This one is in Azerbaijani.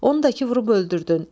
Onu da ki, vurub öldürdün.